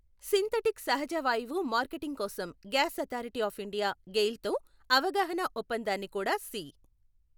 Synthetic సహజవాయువు marketing కోసం gas authority of India GAIL తో అవగాహనా ఒప్పందాన్ని కూడా సి.